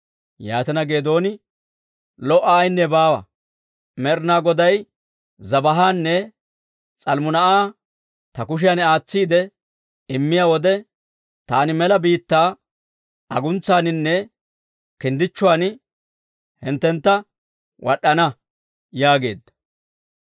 Yaatina, Geedooni, «Lo"a ayinne baawa! Med'inaa Goday Zebaahanne S'almmunaa'a ta kushiyan aatsiide immiyaa wode, taani mela biittaa aguntsaaninne kinddichchuwaan hinttentta wad'd'ana» yaageedda.